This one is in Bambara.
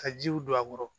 Ka jiw don a kɔrɔ